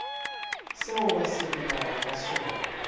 seo ba sepelago ka sona